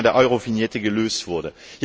das Thema der Eurovignette gelöst wurde.